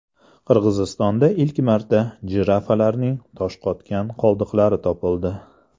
Qirg‘izistonda ilk marta jirafalarning toshqotgan qoldiqlari topildi.